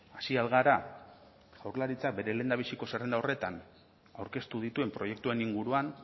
hasi al gara jaurlaritzak bere lehendabiziko zerrenda horretan aurkeztu dituen proiektuen inguruan